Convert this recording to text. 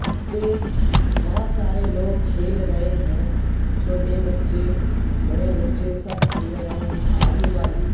इस पे बहोत सारे लोग खेल रहे हैं छोटे बच्चे बड़े बच्चे सब खेल रहे हैं आजू बाजू--